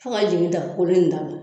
Fo k'a jigin ta kolon in da la